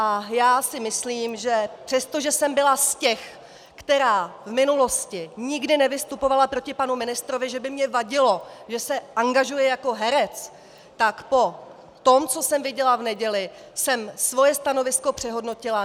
A já si myslím, že přestože jsem byla z těch, která v minulosti nikde nevystupovala proti panu ministrovi, že by mně vadilo, že se angažuje jako herec, tak po tom, co jsem viděla v neděli, jsem svoje stanovisko přehodnotila.